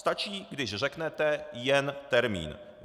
Stačí, když řeknete jen termín.